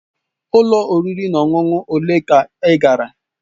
Ụlọ oriri na ọṅụṅụ ole ka ị gara?